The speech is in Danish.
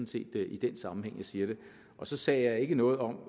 set i den sammenhæng jeg siger det så sagde jeg ikke noget om